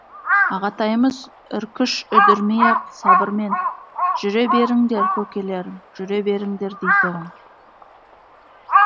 ағатайымыз үркш үдірмей ақ сабырмен жүре беріңдер көкелерім жүре беріңдер дейтұғын